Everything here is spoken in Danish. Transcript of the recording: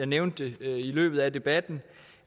nævnte det i løbet af debatten